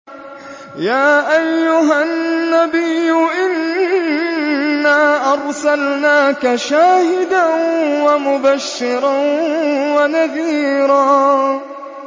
يَا أَيُّهَا النَّبِيُّ إِنَّا أَرْسَلْنَاكَ شَاهِدًا وَمُبَشِّرًا وَنَذِيرًا